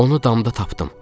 Onu damda tapdım.